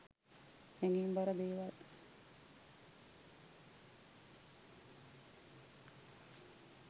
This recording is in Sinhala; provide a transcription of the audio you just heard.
හැඟීම් බර දේවල්